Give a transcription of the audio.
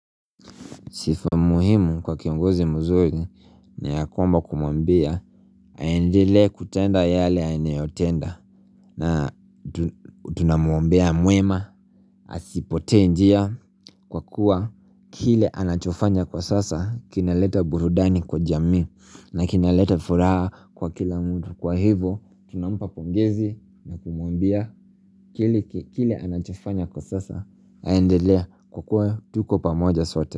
Sifa muhimu kwa kiongozi mzuri na ya kwamba kumwambia Aendelee kutenda yale anayeotenda na tunamwombea mwema asipotee njia kwa kuwa kile anachofanya kwa sasa kinaleta burudani kwa jamii na kinaleta furaha kwa kila mtu Kwa hivo tunampa pongezi na kumuambia Kile anachofanya kwa sasa aendelee kwa kuwa tuko pamoja sote.